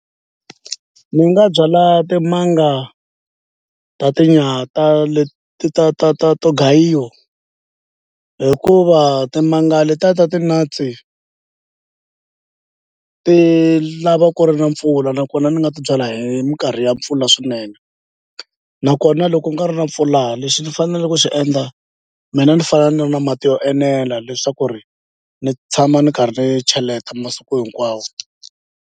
Ni nga byala timanga ta leti ta ta ta to gayiwa hikuva timanga letiya ta ti-nuts-i ti lava ku ri na mpfula nakona ni nga ti byala hi minkarhi ya mpfula swinene nakona loko ku nga ri na mpfula lexi ndzi faneleke ku xi endla mina ni fana ni ri na mati yo enela leswaku ri ni tshama ni karhi ni cheleta masiku hinkwawo.